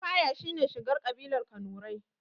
Lafaya shine shigar ƙabilar kanurai